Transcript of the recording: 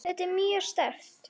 Þetta var mjög sterkt.